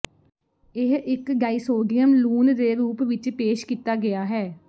ਇਹ ਇੱਕ ਡਾਈਸੋਡੀਅਮ ਲੂਣ ਦੇ ਰੂਪ ਵਿਚ ਪੇਸ਼ ਕੀਤਾ ਗਿਆ ਹੈ